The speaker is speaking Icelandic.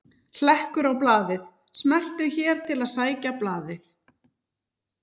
Hlekkur á blaðið: Smelltu hér til að sækja blaðið